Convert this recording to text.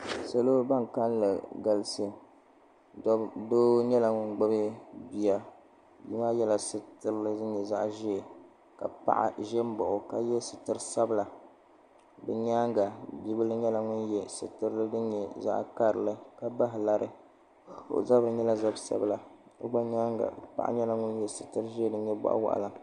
Salo ban kalili galisi doo nyɛla ŋun gbibi bia bia maa yela sitirili din nyɛ zaɣa ʒee ka paɣa ʒɛ m baɣi o ka ye sitiri sabla bɛ nyaanga bibila nyɛla ŋun ye sitirili din nyɛ zaɣa karili ka bahi lari o zabri nyɛla zab'sabla o gba nyaanga paɣa nyɛla ŋun ye sitirili din nyɛ boɣuwaɣala.